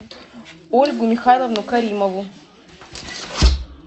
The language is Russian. ольгу михайловну каримову